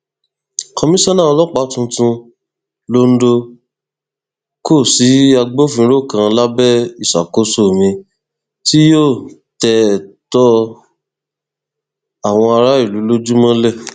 komisanna ọlọpàá tuntun londo kò sí agbófinró kan lábẹ ìṣàkóso mi tí yóò tẹ ẹtọ àwọn aráàlú lójú mọlẹ